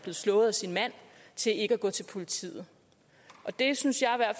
slået af sin mand til ikke at gå til politiet det synes